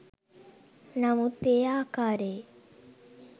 නමුත් ඒ ආකාරයේ